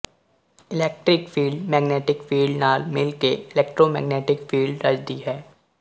electric field magnetic field ਨਾਲ ਮਿਲ ਕੇ ਇਲੈਕਟ੍ਰੋਮੈਗਨੈਟਿਕ ਫੀਲਡ ਰਚਦੀ ਹੈ